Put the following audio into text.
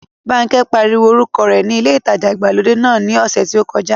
Bánkẹ́ pariwo orúkọ rẹ ní ilé ìtajà ìgbàlódé náà ní ọ̀sẹ̀ tí ó kọjá